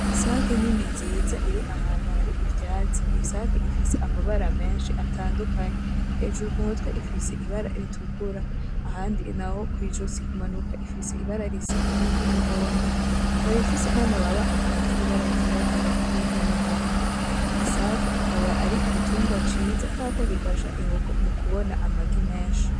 Isake nini nziza iri ahantu hari ivyatsi, iyi sake ifise amabara menshi atandukanye. Hejuru ku mutwe ifise ibara ritukura, ahandi n’aho kw’izosi kumanuka ifise ibara risa n’iry’umuhodo ikaba ifise n’amababa avanze ibara ryirabura n’iry’umuhondo. Isake akaba ari igitungwa ciza kubera ko gifasha inkoko kumubona amagi menshi .